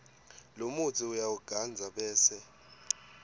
lomutsi uyawugandza bese